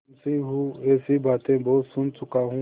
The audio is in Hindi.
मुंशीऊँह ऐसी बातें बहुत सुन चुका हूँ